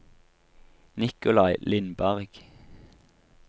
Nicolai Lindberg